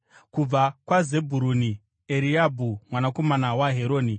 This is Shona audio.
kubva kwaZebhuruni, Eriabhi mwanakomana waHeroni;